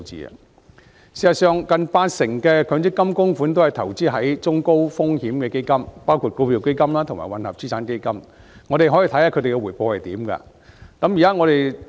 事實上，近八成強積金供款均投資於中高風險的基金，包括股票基金及混合資產基金，我們可以看看它們的回報如何。